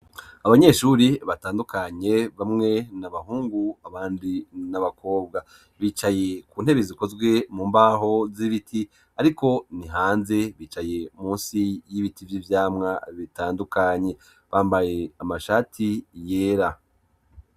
Abanyeshuri batandukanye, bamwe ni abahungu abandi ni abakobwa. Bicaye ku ntebe zikozwe mu mbaho z'ibiti ariko ni hanze, bicaye munsi y'ibiti vy'ivyamwa bitandukanye, bambaye amashati yera.